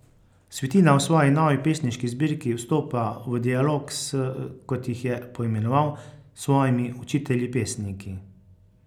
Svetina v svoji novi pesniški zbirki vstopa v dialog s, kot jih je poimenoval, svojimi učitelji pesniki.